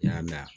N y'a la